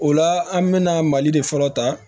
O la an mɛna mali de fɔlɔ ta